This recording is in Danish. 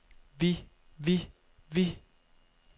vi vi vi